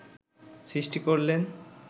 সৃষ্টি করলেন